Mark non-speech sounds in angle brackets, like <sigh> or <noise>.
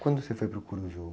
Quando você foi para o? <unintelligible>